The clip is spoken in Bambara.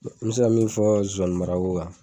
n mɛ se ka min fɔ zozanimarako kan